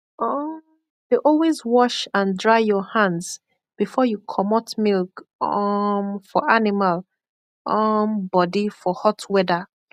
um dey always wash and dry your hands before you comot milk um for animal um body for hot weather